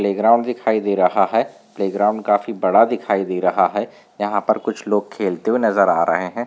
Play ground दिखाई दे रहा हैं प्ले ग्राउन्ड काफी बड़ा दिखाई दे रहा हैं यहा पर कुछ लोग खेलते हुवे नजर रहैं हैं।